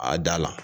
A da la